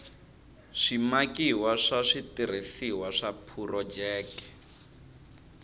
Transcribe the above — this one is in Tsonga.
swimakiwa swa switirhisiwa swa phurojeke